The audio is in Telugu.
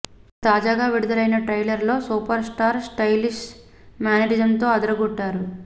ఇక తాజాగా విడుదలైన ట్రైలర్ లో సూపర్ స్టార్ స్టైలిష్ మేనరిజంతో అదరగొట్టారు